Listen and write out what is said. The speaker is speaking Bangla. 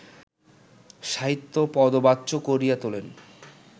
সাহিত্য পদবাচ্য করিয়া তোলেন